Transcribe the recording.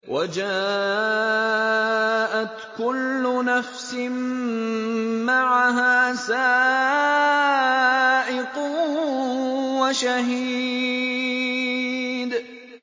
وَجَاءَتْ كُلُّ نَفْسٍ مَّعَهَا سَائِقٌ وَشَهِيدٌ